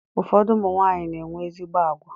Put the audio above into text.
Ụfọdụ ụmụnwanyị na-enwe ezigbo agwa.